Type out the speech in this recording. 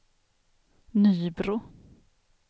Nybro